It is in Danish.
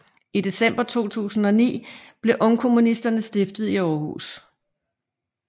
I december 2009 blev Ungkommunisterne stiftet i Århus